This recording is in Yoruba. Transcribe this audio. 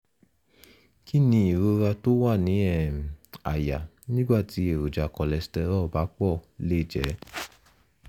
kí ni ìrora tó wà ní um àyà nígbà tí èròjà cholesterol bá pọ̀ lè jẹ́?